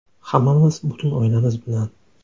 Hammamiz, butun oilamiz bilan.